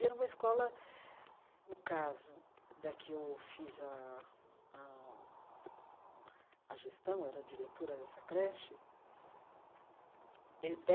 E era uma escola... No caso da que eu fiz a a a gestão, era diretora dessa creche eh,